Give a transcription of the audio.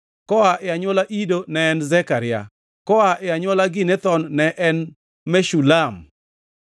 koa e anywola Ido ne en Zekaria; koa e anywola Ginethon ne en Meshulam;